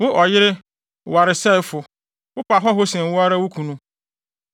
“ ‘Wo, ɔyere waresɛefo, wopɛ ahɔho sen wo ara wo kunu!